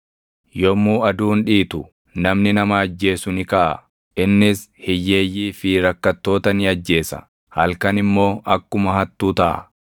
Yommuu aduun dhiitu, namni nama ajjeesu ni kaʼa; innis hiyyeeyyii fi rakkattoota ni ajjeesa; halkan immoo akkuma hattuu taʼa.